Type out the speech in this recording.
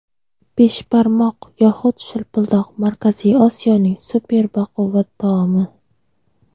Beshbarmoq yoxud shilpildoq — Markaziy Osiyoning super baquvvat taomi.